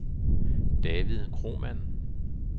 David Kromann